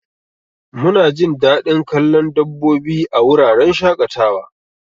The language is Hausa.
Munajin dadin kallon dabbobi a wuraren shaƙatawa.